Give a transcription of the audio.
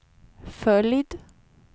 följd